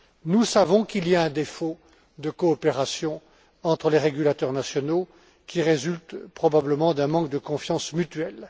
Nous savons qu'il y a un défaut de coopération entre les régulateurs nationaux qui résulte, probablement, d'un manque de confiance mutuelle.